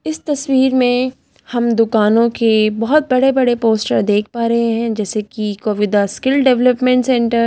इस तस्वीर में हम दुकानों के बहुत बड़े-बड़े पोस्टर देख पा रहे हैं जैसे कि कोविदा स्किल डेवलपमेंट सेंटर --